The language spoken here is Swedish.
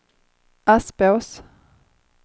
Aspås